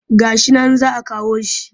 Ga shi nan za a kawo shi